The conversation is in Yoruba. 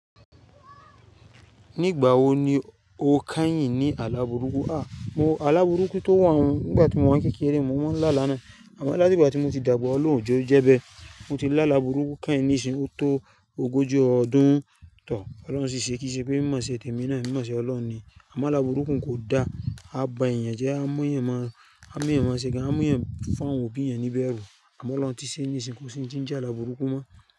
Nígbà wo ni o keyín ní àla bùrúkú? Mo, àla bùrúkú tó wọ̀n nígbà tí mo wà ní kékeré, mo mọ́ ń lá alá nàá. Àmọ́ láti ìgbà tí mo ti dàgbà ọlọ́run òjé jẹ́ bẹ́. Mo ti làla bùrúkú keyín nísinyí o tó ogójì ọdún. Ọlọ́run ṣì ṣe kí ṣe pé mímọ́ ṣe tèmi náà, mímọ́ ṣe Ọlọ́run ni. Àmọ́ àlabùrúkú kò da, a bá èèyàn jẹ́, a mú èèyàn máa ṣe gan, a mú èèyàn fún àwọn òbí èèyàn ní bẹ́ẹ̀ rú. Àmọ́ Ọlọ́run ti ṣe nísìnyí kò ṣe n tí je àla bùrúkú mọ́.